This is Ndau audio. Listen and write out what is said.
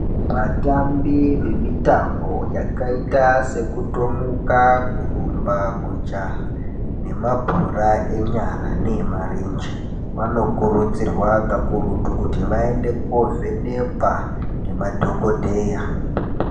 Vatambi vemitambo yakaita sekutomuka kurumba kujaha nemabhora enyara neemarenje vanokurudzirwa kakurutu kuti vaende kovhenekwa ngemadhokodheya